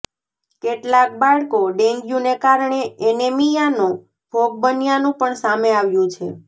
કેટલાક બાળકો ડેન્ગ્યુને કારણે એનિમિયાનો ભોગ બન્યાનું પણ સામે આવ્યું છે